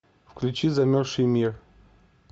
включи замерзший мир